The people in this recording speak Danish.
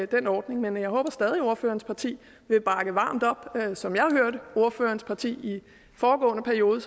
den ordning men jeg håber stadig at ordførerens parti vil bakke varmt op som jeg hørte ordførerens parti i foregående periode